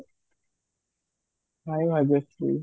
hye Bhagyashree